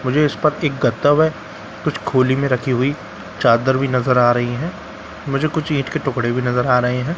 मुझे इस पर एक गत्ता व कुछ खोली में रखी हुई चादर भी नजर आ रही है मुझे कुछ ईंट के टुकड़े भी नजर आ रहे हैं --